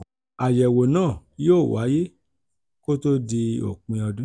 àyẹ̀wò náà yóò wáyé kó tó di òpin ọdún.